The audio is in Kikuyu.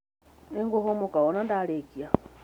Nĩngũhũmũka wona ndarĩkia